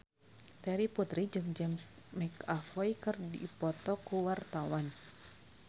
Terry Putri jeung James McAvoy keur dipoto ku wartawan